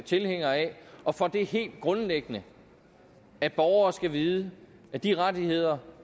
tilhænger af og for det helt grundlæggende at borgere skal vide at de rettigheder